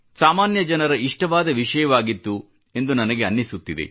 ಸಾಮಾನ್ಯ ಜನರ ಇಷ್ಟವಾದ ವಿಷಯವಾಗಿತ್ತು ಎಂದು ನನಗೆ ಅನ್ನಿಸುತ್ತದೆ